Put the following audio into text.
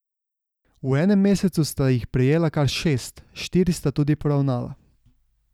V enem mesecu sta jih prejela kar šest, štiri sta tudi poravnala.